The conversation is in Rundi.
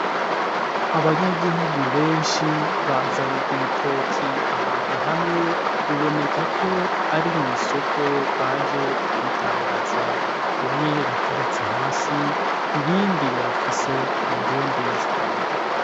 Abanyagihugu benshi bazany'ibitoki ahantu hamwe bibonekako ari mwisoko baje kubidandaza bimwe biteretse hasi ibindi bafise kumakinga.